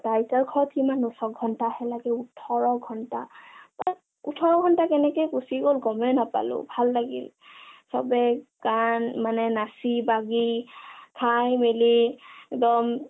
আইতা ঘৰ কিমান নো ছয় ঘণ্টা হে লাগে, ওঠৰ ঘণ্টা..ওঠৰ ঘণ্টা কেনেকে গুচি গল গমেই নাপালো, ভাল লাগিল, চবে গান মানে নাচি-বাগি, খাই-মেলি একদম